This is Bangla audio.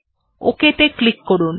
ok ত়ে ক্লিক করুন